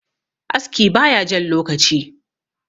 aski ba ya Jan lokaci